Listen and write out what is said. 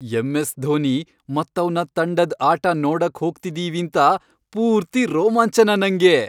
MS. Dhoni ಮತ್ತವ್ನ ತಂಡದ್ ಆಟ ನೋಡಕ್ ಹೋಗ್ತಿದೀವೀಂತ ಪೂರ್ತಿ ರೋಮಾಂಚನ ನಂಗೆ.